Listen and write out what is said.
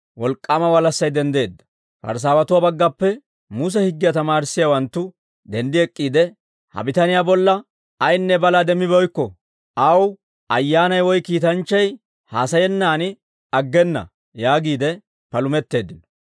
Wolk'k'aama walassay denddeedda; Parisaawatuwaa baggappe Muse higgiyaa tamaarissiyaawanttu denddi ek'k'iide, «Ha bitaniyaa bolla ayinne balaa demmibeykko; aw ayyaanay woy kiitanchchay haasayennan aggena» yaagiide palumetteeddino.